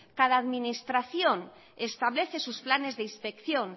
cada administración establece sus planes de inspección